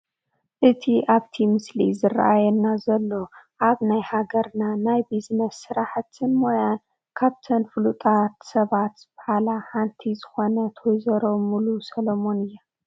እቲ ኣብቲ ምስሊ ዝራኣየና ዘሎ ኣብ ናይ ሃገርና ናይ ቢዝነስ ስራሕትን ሞያን ካብተን ፉሉጣት ሰባት ዝባሃላ ሓንቲ ዝኾነ ወ/ሮ ሙሉ ሰሎሞን ኣያ፡፡